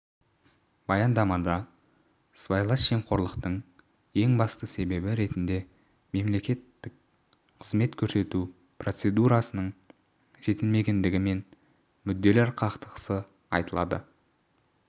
баяндамада сыбайлас жемқорлықтың ең басты себебі ретінде мемлекеттік қызмет көрсету процедурасының жетілмегендігі мен мүдделер қақтығысы айтылады